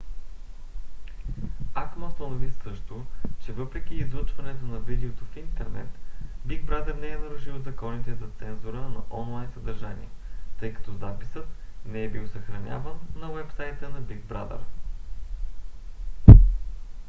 acma установи също че въпреки излъчването на видеото в интернет big brother не е нарушил законите за цензура на онлайн съдържание тъй като записът не е бил съхраняван на уебсайта на big brother